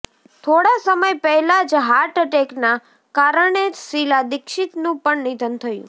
થોડા સમય પહેલા જ હાર્ટ અટેકના કારણે શીલા દીક્ષિતનું પણ નિધન થયું